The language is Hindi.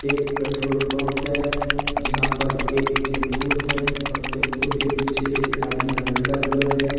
एक पेट्रोल पंप है यहां पर एक टेंपू है और टेंपू के पीछे एक आदमी लटका हुआ है।